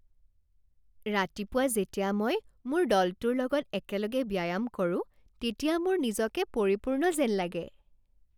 ৰাতিপুৱা যেতিয়া মই মোৰ দলটোৰ লগত একেলগে ব্যায়াম কৰোঁ তেতিয়া মোৰ নিজকে পৰিপূৰ্ণ যেন লাগে।